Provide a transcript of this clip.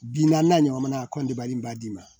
Bi naani naani ɲɔgɔn na a kɔ dabali b'a d'i ma